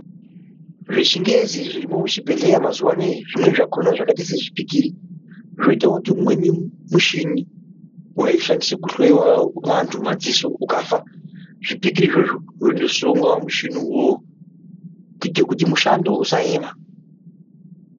Zvechingezi zvirimwo muzvibhedhleya mazuvaano izvi zvimweni zvakhona zvakaita sezvipikiri zvoitawo kuti umweni mushini waishandiswa kuhloya vantu madziso ukafa zvipikiri izvozvo zvondosungwa mumuchini uwowo kuita kuti mushando usaema.